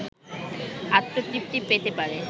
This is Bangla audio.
আত্মতৃপ্তি পেতে পারে